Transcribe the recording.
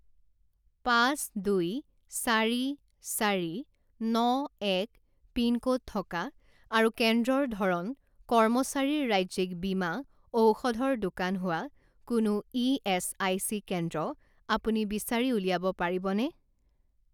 পাঁচ দুই চাৰি চাৰি ন এক পিনক'ড থকা আৰু কেন্দ্ৰৰ ধৰণ কৰ্মচাৰীৰ ৰাজ্যিক বীমা ঔষধৰ দোকান হোৱা কোনো ইএচআইচি কেন্দ্ৰ আপুনি বিচাৰি উলিয়াব পাৰিবনে?